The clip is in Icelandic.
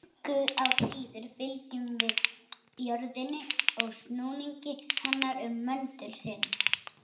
Engu að síður fylgjum við jörðinni í snúningi hennar um möndul sinn.